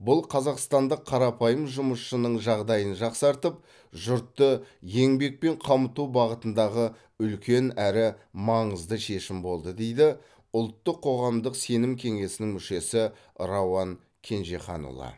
бұл қазақстандық қарапайым жұмысшының жағдайын жақсартып жұртты еңбекпен қамту бағытындағы үлкен әрі маңызды шешім болды дейді ұлттық қоғамдық сенім кеңесінің мүшесі рауан кенжеханұлы